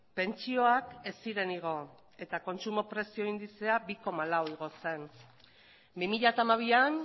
pentsioak ez ziren igo eta kontsumo prezio indizea bi koma lau igo zen bi mila hamabian